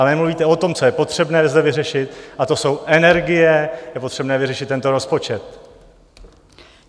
A nemluvíte o tom, co je potřebné zde vyřešit, a to jsou energie, je potřebné vyřešit tento rozpočet.